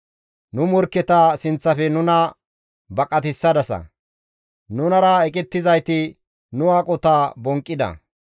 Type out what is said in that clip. Nu morkketa sinththafe nuna baqatissadasa; nunara eqettizayti nu aqota bonqqida.